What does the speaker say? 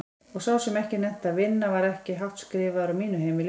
Og sá sem ekki nennti að vinna var ekki hátt skrifaður á mínu heimili.